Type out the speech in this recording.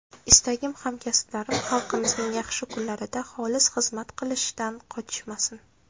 Istagim, hamkasblarim xalqimizning yaxshi kunlarida xolis xizmat qilishdan qochishmasin.